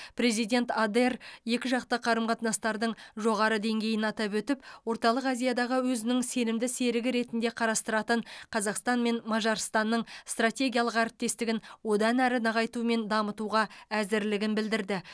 президент адер екіжақты қарым қатынастардың жоғары деңгейін атап өтіп орталық азиядағы өзінің сенімді серігі ретінде қарастыратын қазақстан мен мажарстанның стратегиялық әріптестігін одан әрі нығайту мен дамытуға әзірлігін білдірді